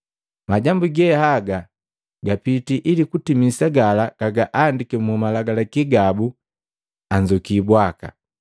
Majambu ge haga gapiti ili kutimisa gala gahandiki mu Malagalaki gabu, ‘Anzuki bwaka!’ ”